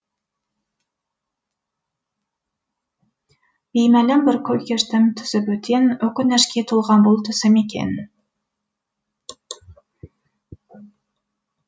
беймәлім бір күй кештім түсі бөтен өкінішке толған бұл түсім екен